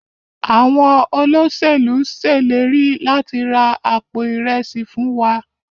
Àwọn Olóṣèlú ileri lati ra Àpò Ìrẹsí fún wá.